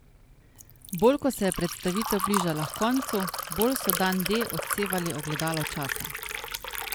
Bolj ko se je predstavitev bližala h koncu, bolj so Dan D odsevali ogledalo časa.